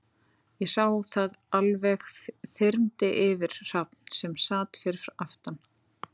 Ég sá að það alveg þyrmdi yfir Hrafn, sem sat fyrir aftan